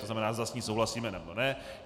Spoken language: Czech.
To znamená, zda s ní souhlasíme, nebo ne.